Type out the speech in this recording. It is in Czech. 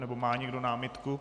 Nebo má někdo námitku?